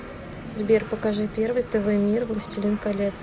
сбер покажи первый тв мир властелин колец